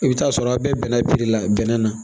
I bɛ t'a sɔrɔ a bɛɛ bɛnna bilila bɛnnɛ na